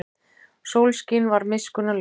Sólskin var miskunnarlaust.